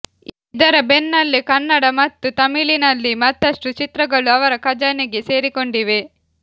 ಇದರ ಬೆನ್ನಲ್ಲೇ ಕನ್ನಡ ಮತ್ತು ತಮಿಳಿನಲ್ಲಿ ಮತ್ತಷ್ಟು ಚಿತ್ರಗಳು ಅವರ ಖಜಾನೆಗೆ ಸೇರಿಕೊಂಡಿವೆ